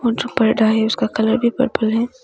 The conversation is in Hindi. जो पर्दा है उसका कलर भी पर्पल है।